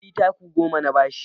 Fili taku goma na ba shi